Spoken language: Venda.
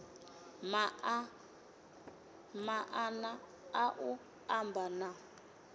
maanḓa a u amba na